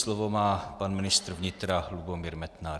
Slovo má pan ministr vnitra Lubomír Metnar.